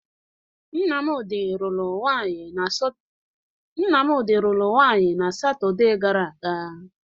Nnamdị lụrụ nwaanyị na satọde gara aga.